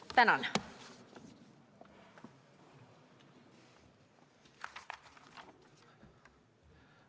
Tänan!